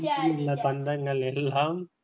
பந்தங்கள் எல்லாம்